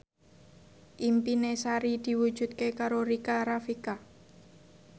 impine Sari diwujudke karo Rika Rafika